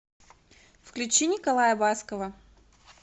включи николая баскова